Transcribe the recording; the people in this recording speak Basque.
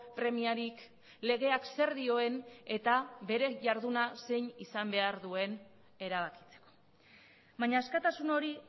premiarik legeak zer dioen eta beren jarduna zein izan behar duen erabakitzeko baina askatasun hori